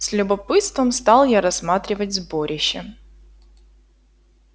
с любопытством стал я рассматривать сборище